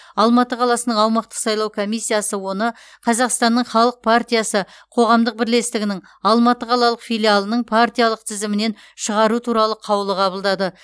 алматы қаласының аумақтық сайлау комиссиясы оны қазақстанның халық партиясы қоғамдық бірлестігінің алматы қалалық филиалының партиялық тізімінен шығару туралы қаулы қабылдады